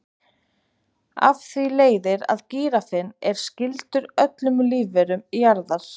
af því leiðir að gíraffinn er skyldur öllum lífverum jarðar!